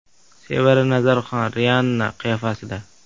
Sevara Nazarxon Rianna qiyofasida.